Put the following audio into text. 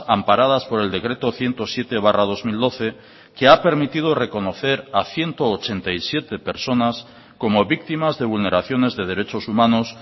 amparadas por el decreto ciento siete barra dos mil doce que ha permitido reconocer a ciento ochenta y siete personas como víctimas de vulneraciones de derechos humanos